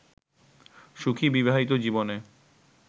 সুখী বিবাহিত জীবনে